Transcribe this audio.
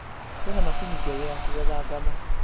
Kwĩna macini njerũ ya kũgetha ngano